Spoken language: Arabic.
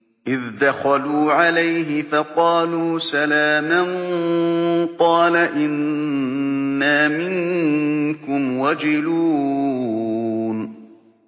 إِذْ دَخَلُوا عَلَيْهِ فَقَالُوا سَلَامًا قَالَ إِنَّا مِنكُمْ وَجِلُونَ